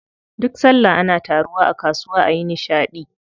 Duk sallah ana taruwa a kasuwa ayi nishaɗi.